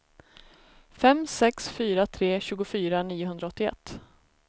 fem sex fyra tre tjugofyra niohundraåttioett